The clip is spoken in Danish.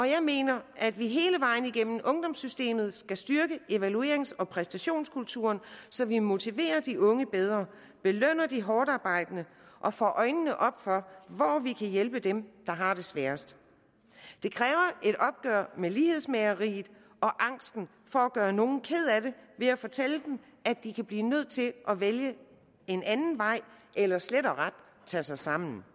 jeg mener at vi hele vejen igennem ungdomssystemet skal styrke evaluerings og præstationskulturen så vi motiverer de unge bedre belønner de hårdtarbejdende og får øjnene op for hvor vi kan hjælpe dem der har det sværest det kræver et opgør med lighedsmageriet og angsten for at gøre nogle kede af det ved at fortælle dem at de kan blive nødt til at vælge en anden vej eller slet og ret tage sig sammen